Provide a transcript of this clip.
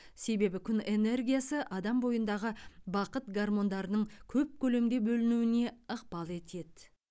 себебі күн энергиясы адам бойындағы бақыт гармондарының көп көлемде бөлінуіне ықпал етеді